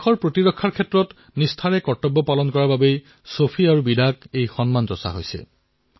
সৌফি আৰু বিদাই এই সন্মান নিজৰ কৰ্তব্য পালন কৰাৰ বাবে লাভ কৰিছে